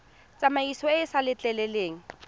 tsamaiso e e sa letleleleng